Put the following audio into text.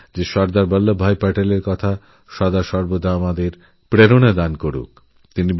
আমি চাই সর্দার বল্লভভাই প্যাটেলের এই বাণী আমাদের সদাসর্বদাঅনুপ্রাণিত করুক